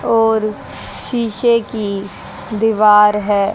और शीशे की दीवार है।